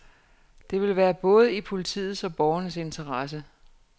Det vil være både i politiets og borgernes interesse.